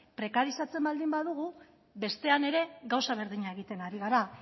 prekarizatzen baldin badugu bestean ere gauza berdina egiten ari gara